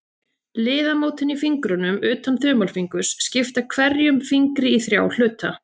Liðamótin í fingrunum, utan þumalfingurs, skipta hverjum fingri í þrjá hluta.